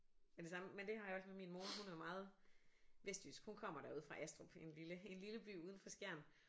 Ja det samme men det har jeg også med min mor hun er meget vestjysk hun kommer derude fra Astrup en lille en lille by uden for Skjern